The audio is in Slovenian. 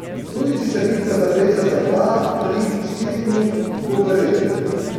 Tudi če se bitka zavleče za dva, tri, štiri dni, bo v redu.